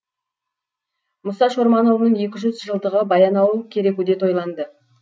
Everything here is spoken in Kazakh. мұса шорманұлының екі жүз жылдығы баянауыл керекуде тойланды